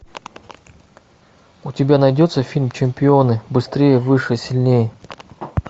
у тебя найдется фильм чемпионы быстрее выше сильнее